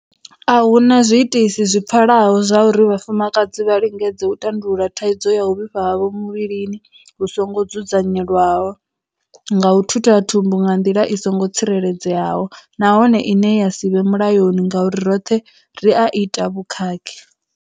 A hu na zwi itisi zwi pfalaho zwauri vhafumakadzi vha lingedze u tandulula thaidzo ya u vhifha havho muvhilini hu songo dzudzanyelwaho nga u thutha thumbu nga nḓila i songo tsireledzeaho nahone ine ya si vhe mulayoni ngauri roṱhe ri a ita vhukhakhi.